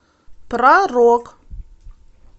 про рок